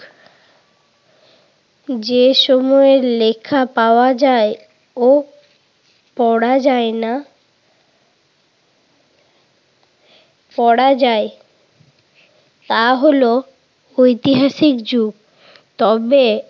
যে সময়ের লেখা পাওয়া যায় ও পড়া যায় না পড়া যায় তা হলো ঐতিহাসিক যুগ। তবে